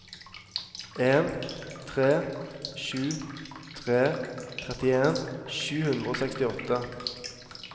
en tre sju tre trettien sju hundre og sekstiåtte